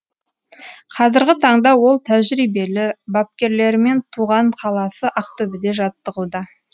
қазіргі таңда ол тәжірибелі бапкерлерімен туған қаласы ақтөбеде жаттығуда